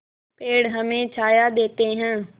पेड़ हमें छाया देते हैं